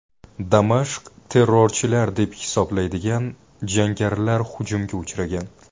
Damashq terrorchilar deb hisoblaydigian jangarilar hujumga uchragan.